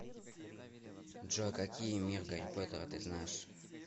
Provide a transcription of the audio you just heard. джой какие мир гарри поттера ты знаешь